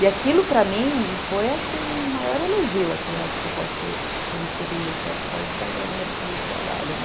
E aquilo, para mim, foi, assim, o maior elogio, assim, acho que eu posso ter recebido, principalmente para entrar no mercado de trabalho.